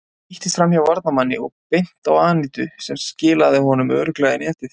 Hann spýttist framhjá varnarmanni og beint á Anítu sem skilaði honum örugglega í netið.